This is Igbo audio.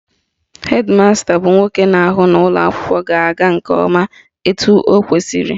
Hed masta bụ nwoke na-ahụ na ụlọakwụkwọ ga-aga nke ọma etu ọ kwesịrị